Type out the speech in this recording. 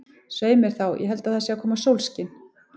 Svei mér þá, ég held að það sé að koma sólskin.